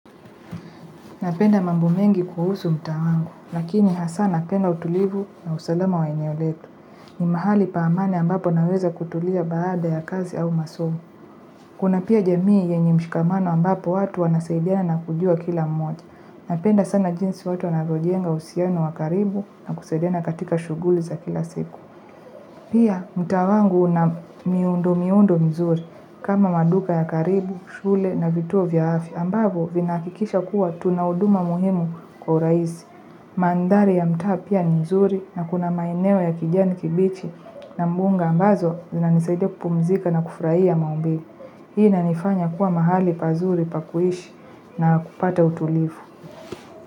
Napenda mambo mengi kuhusu mtaa wangu, lakini hasa napenda utulivu na usalama wa eneo letu. Ni mahali pa amani ambapo naweza kutulia baada ya kazi au masomo. Kuna pia jamii yenye mshikamano ambapo watu wanasaidiana kujua kila mmoja. Napenda sana jinsi watu wanavyojenga uhusiano wa karibu na kusaidiana katika shughuli za kila siku. Pia mtaa wangu una miundo miundo mzuri kama maduka ya karibu, shule na vituo vya afya. Ambavyo vinahakikisha kuwa tunahuduma muhimu kwa urahisi. Mandhari ya mtaa pia ni mzuri na kuna maeneo ya kijani kibichi na mbunga ambazo zina nisaidia kupumzika na kufurahia maumbile. Hii ina nifanya kuwa mahali pazuri pakuishi na kupata utulivu.